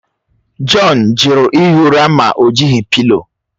John jụrụ ihi ụra ma o jighị pịlo.